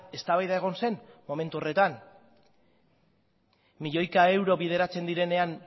eztabaida egon zen momentu horretan milioika euro bideratzen direnean